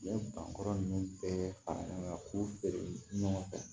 U bɛ ban kɔrɔ ninnu bɛɛ fara ɲɔgɔn kan k'u feere ɲɔgɔn fɛ